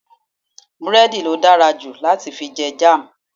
búrẹ́dì lo darjulo lati fi je Jam